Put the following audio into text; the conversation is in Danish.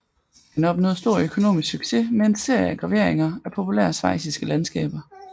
Han opnåede stor økonomisk succes med en serie af graveringer af populære schweiziske landskaber